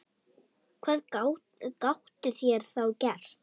Hvað gátu þeir þá gert?